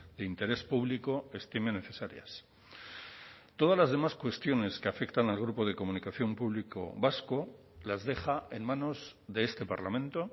de interés público estimen necesarias todas las demás cuestiones que afectan al grupo de comunicación público vasco las deja en manos de este parlamento